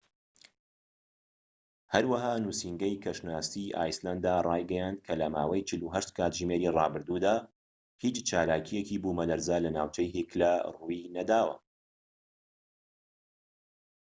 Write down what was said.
هەروەها نوسینگەی کەشناسی ئایسلەندارایگەیاند کە لە ماوەی 48 کاتژمێری ڕابردوودا هیچ چالاکییەکی بوومەلەرزە لە ناوچەی هیکلا ڕووینەداوە